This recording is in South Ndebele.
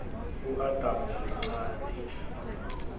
udamu lincani